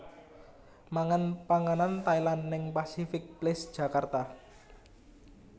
Mangan panganan Thailand ning Pasific Place Jakarta